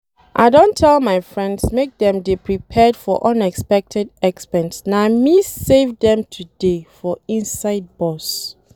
I don tell my friends make dem dey prepared for unexpected expense na me save dem today for inside bus